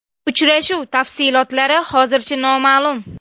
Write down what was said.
Uchrashuv tafsilotlari hozircha noma’lum.